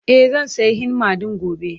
E, zan sayi henna ɗin gobe.